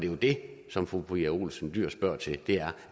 jo det som fru pia olsen dyhr spørger til er